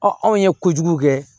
anw ye kojugu kɛ